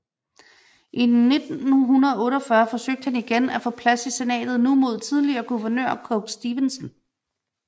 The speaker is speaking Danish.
I 1948 forsøgte han igen at få plads i senatet nu mod tidligere guvernør Coke Stevenson